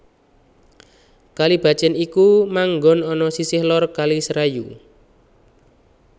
Kalibacin iku manggon ana sisih lor Kali Serayu